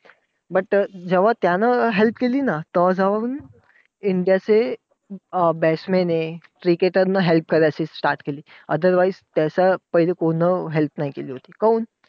But त्यानं जेव्हा help केली ना, तेव्हा जाऊन इंडियाचे अं batsman हे cricketer नं help करायची start केली. Otherwise त्याचा कोण help नाही केली होती. काहून?